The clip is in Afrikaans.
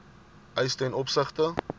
eise ten opsigte